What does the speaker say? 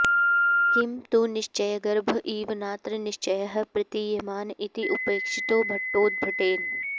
किं तु निश्चयगर्भ इव नात्र निश्चयः प्रतीयमान इति उपेक्षितो भट्टोद्भटेन